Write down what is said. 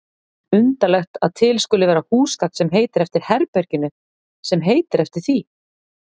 Undarlegt að til skuli vera húsgagn sem heitir eftir herberginu sem heitir eftir því.